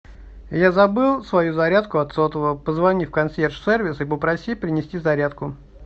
я забыл свою зарядку от сотового позвони в консьерж сервис и попроси принести зарядку